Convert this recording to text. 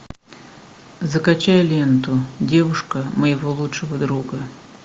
закачай ленту девушка моего лучшего друга